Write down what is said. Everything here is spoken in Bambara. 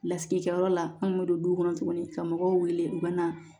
Lasigikɛyɔrɔ la anw bɛ don duw kɔnɔ tuguni ka mɔgɔw wele u ka na